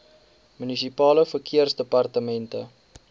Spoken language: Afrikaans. munisipale verkeersdepartemente